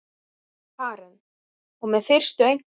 Karen: Og með fyrstu einkunn?